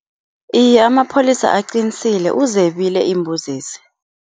Iye, amapholisa aqinisile. Uzebile iimbuzezi.